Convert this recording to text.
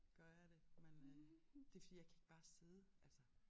Gør jeg det men øh det fordi jeg kan ikke bare sidde altså